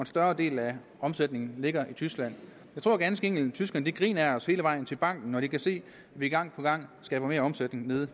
større del af omsætningen ligger i tyskland jeg tror ganske enkelt at tyskerne griner af os hele vejen til banken når de kan se at vi gang på gang skaber mere omsætning nede